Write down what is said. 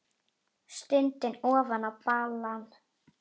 Stundi ofan í balann.